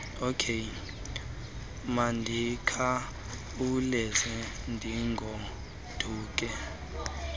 okey mandikhawulezise ndigoduke